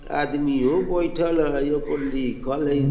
आदमीयो बैठल हई इहाँ पर लिखल हई।